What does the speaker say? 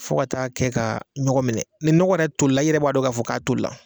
Fo ka taa kɛ ka ɲɔgɔn minɛ ni nɔgɔ yɛrɛ toli la i yɛrɛ b'a dɔn k'a fɔ k'a toli la.